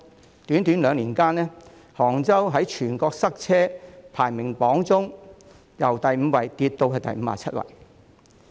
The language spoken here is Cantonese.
在短短兩年間，杭州在全國塞車排名榜中由第五位跌至第五十七位。